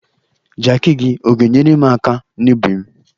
Jakị gi, ọ ga-enyerem aka n'ubim?